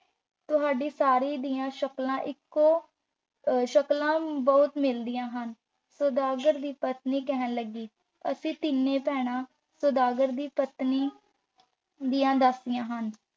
ਤੁਹਾਡੀਆਂ ਸਾਰੀਆਂ ਦੀਆਂ ਸ਼ਕਲਾਂ ਇੱਕੋ ਅਹ ਸ਼ਕਲਾਂ ਬਹੁਤ ਮਿਲਦੀਆਂ ਹਨ। ਸਦਾਗਰ ਦੀ ਪਤਨੀ ਕਹਿਣ ਲੱਗੀ, ਅਸੀਂ ਤਿੰਨ ਭੈਣਾਂ ਸੁਦਾਗਰ ਦੀ ਪਤਨੀ ਦੀਆਂ ਦਾਸੀਆਂ ਹਾਂ।